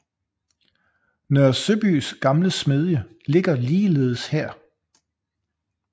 Nørre Søbys gamle smedie ligger ligeledes her